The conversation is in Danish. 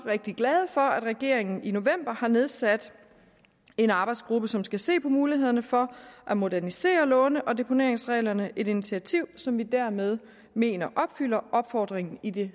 rigtig glade for at regeringen i november har nedsat en arbejdsgruppe som skal se på mulighederne for at modernisere låne og deponeringsreglerne et initiativ som vi dermed mener opfylder opfordringen i det